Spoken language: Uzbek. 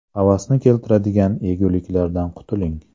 Havasni keltiradigan yeguliklardan qutuling .